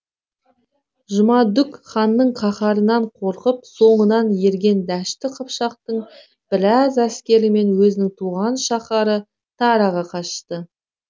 жұмадүк ханның қаһарынан қорқып соңынан ерген дәшті қыпшақтың біраз әскерімен өзінің туған шаһары тараға қашты